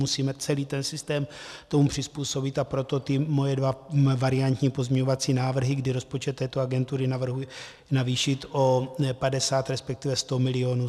Musíme celý ten systém tomu přizpůsobit, a proto ty moje dva variantní pozměňovací návrhy, kdy rozpočet této agentury navrhuje navýšit o 50, respektive 100 mil.